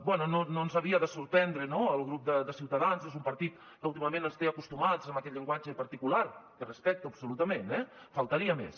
bé no ens havia de sorprendre no el grup de ciutadans és un partit que últimament ens té acostumats amb aquest llenguatge particular que respecto absolutament eh faltaria més